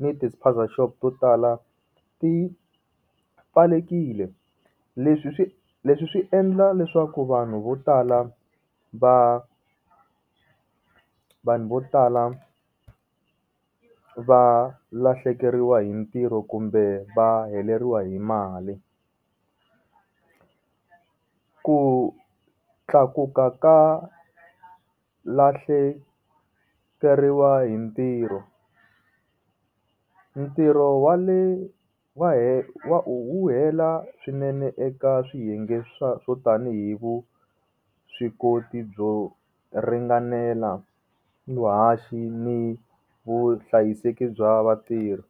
ni ti spaza shop to tala ti pfalelekile leswi swi leswi swi endla leswaku vanhu vo tala va vanhu vo tala va lahlekeriwa hi mintirho kumbe va heleriwa hi mali. Ku tlakuka ka lahlekeriwa hi ntirho ntirho wa le wa u hela swinene eka swiyenge swa swo tanihi vuswikoti byo ringanela vuhashi ni vuhlayiseki bya vatirhi